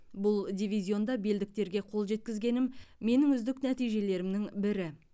бұл дивизионда белдіктерге қол жеткізгенім менің үздік нәтижелерімнің бірі